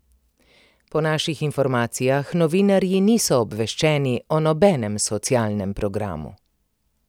Po naših informacijah novinarji niso obveščeni o nobenem socialnem programu.